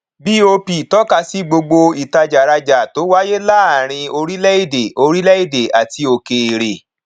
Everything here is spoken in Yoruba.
bop tọka sí gbogbo ìtajàrajà tó wáyé láàárín orílẹèdè orílẹèdè àti òkèèrè